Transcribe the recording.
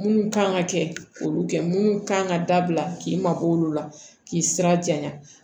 Mun kan ka kɛ k'olu kɛ mun kan ka dabila k'i mabɔ olu la k'i sira janya